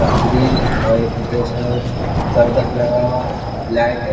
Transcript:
Green और एक ढेर सारा करकट लगा हुआ है लाइट है।